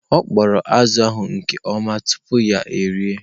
Ọ kpọrọ azụ̀ ahụ nke ọma tupu ya erie.